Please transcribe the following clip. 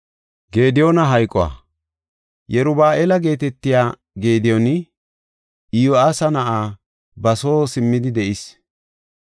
Yeruba7aala geetetiya Gediyooni, Iyo7aasa na7ay ba soo simmidi de7is.